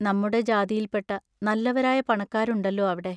നമ്മുടെ ജാതിയിൽപ്പെട്ട നല്ലവരായ പണക്കാരുണ്ടല്ലോ അവിടെ.